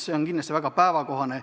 See on kindlasti väga päevakohane.